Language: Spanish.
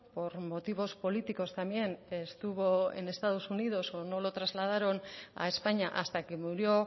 por motivos políticos también estuvo en estados unidos o no lo trasladaron a españa hasta que murió